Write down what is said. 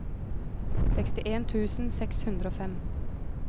sekstien tusen seks hundre og fem